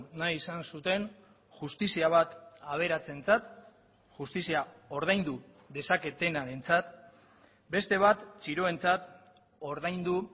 nahi izan zuten justizia bat aberatsentzat justizia ordaindu dezaketenarentzat beste bat txiroentzat ordaindu